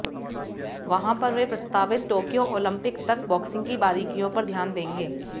वहां पर वे प्रस्तावित टोक्यो ओलंपिक तक बॉक्सिंग की बारीकियों पर ध्यान देंगे